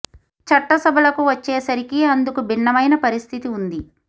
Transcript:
చట్ట సభలకు వచ్చే సరికి అందుకు భిన్నమైన పరిస్థితి ఉంది